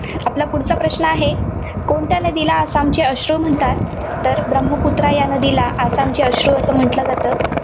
आपला पुढचा प्रश्न आहे, कोणत्या नदीला आसामचे अश्रू म्हणतात? तर ब्रह्मपुत्रा या नदीला आसामचे अश्रू असे म्हटलं जातं.